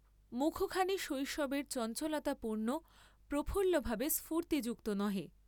মুখখানি শৈশবের চঞ্চলতাপূর্ণ প্রফুল্লভাবে স্ফূর্ত্তিযুক্ত নহে।